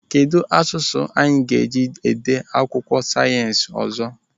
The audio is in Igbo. Kedụ asụsụ anyị ga-eji dee akwụkwọ sayensị ọzọ?